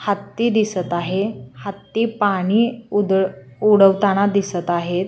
हत्ती दिसत आहे हत्ती पाणी उद उडवताना दिसत आहेत.